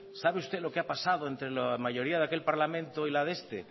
sabe usted lo que ha pasado entre la mayoría de aquel parlamento y la de este